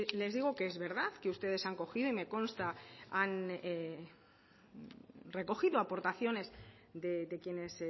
les digo que es verdad que ustedes han cogido y me consta que han recogido aportaciones de quienes